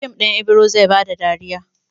Fim ɗin Ibiro zai ba ka dariya.